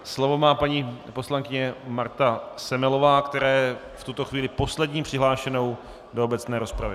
Slovo má paní poslankyně Marta Semelová, která je v tuto chvíli poslední přihlášenou do obecné rozpravy.